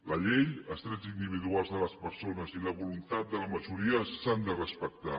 la llei els drets individuals de les persones i la voluntat de la majoria s’han de respectar